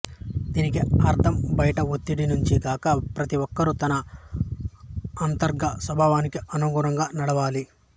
దీనికి అర్థం బయటి ఒత్తిడి నుంచి గాక ప్రతి ఒక్కరు తన అంతర్గత స్వభావానికి అనుగుణంగా నడవాలి